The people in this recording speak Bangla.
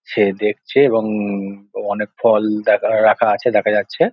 সে দেখছে এবং হম ম অনেক ফল দেখা রাখা আছে দেখা যাচ্ছে।